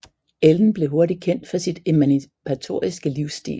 Ellen blev hurtigt kendt for sit emancipatoriske livsstil